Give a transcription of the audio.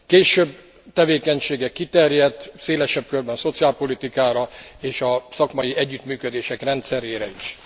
Később tevékenysége kiterjedt szélesebb körben szociálpolitikára és a szakmai együttműködések rendszerére is.